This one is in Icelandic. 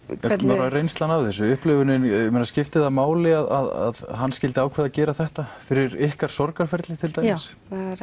bara reynslan af þessu upplifunin skipti það máli að hann skyldi ákveða að gera þetta fyrir ykkar sorgarferli til dæmis